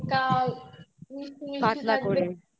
পাতলা করে